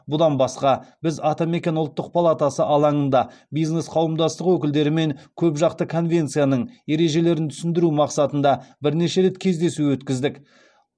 бұдан басқа біз атамекен ұлттық палатасы алаңында бизнес қауымдастық өкілдерімен көпжақты конвенцияның ережелерін түсіндіру мақсатында бірнеше рет кездесу өткіздік